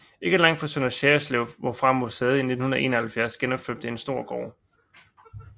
Ikke langt fra Sønder Sejerslev hvorfra museet i 1971 genopførte en stor gård